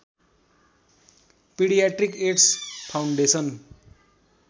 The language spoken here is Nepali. paediatric AIDS foundation